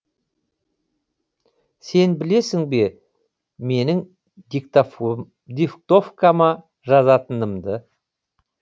сен білесің бе менің диктовкама жазатынымды